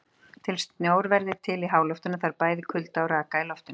Til að snjór verði til í háloftunum þarf bæði kulda og raka í loftinu.